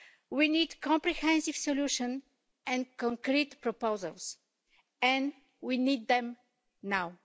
We need comprehensive solutions and concrete proposals, and we need them now.